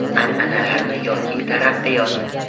An’analarmi yoki taraqqiyot?